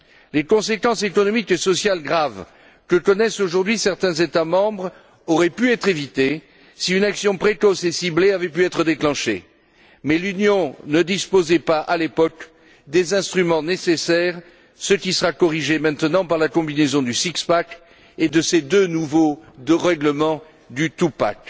Les conséquences économiques et sociales graves, que connaissent aujourd'hui certains États membres, auraient pu être évitées si une action précoce et ciblée avait pu être déclenchée mais l'Union ne disposait pas, à l'époque, des instruments nécessaires, ce qui sera corrigé maintenant par la combinaison du six pack et de ces deux nouveaux règlements du two pack